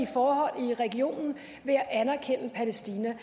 forhold i regionen ved at anerkende palæstina